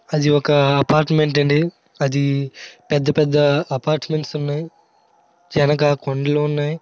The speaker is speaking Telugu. అది ఒక అపార్ట్మెంట్ అండీ. అది పెద్దపెద్ద అపార్ట్మెంట్ ఉన్నాయి వెనక కొండలున్నాయి.